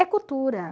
É cultura.